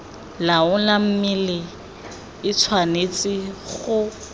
laola mme e tshwanetse go